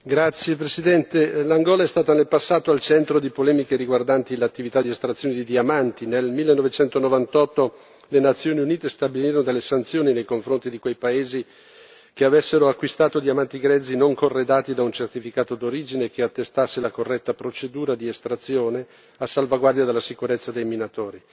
Signor Presidente, onorevoli colleghi, l'Angola è stata nel passato al centro di polemiche riguardanti l'attività di estrazione di diamanti. Nel 1998 le Nazioni Unite stabilirono delle sanzioni nei confronti di quei paesi che avessero acquistato diamanti grezzi non corredati da un certificato d'origine che attestasse la corretta procedura di estrazione, a salvaguardia della sicurezza dei minatori.